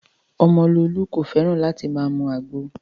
Omololu kò fẹ́ràn láti máa mu àgbo